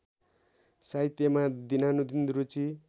साहित्यमा दिनानुदिन रुचि